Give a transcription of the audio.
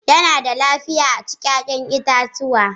Yana da lafiya a ci 'ya'yan itatuwa